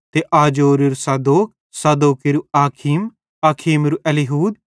ते अजोरेरू सादोक सादोकेरू अखीम अखीमेरू एलीहूद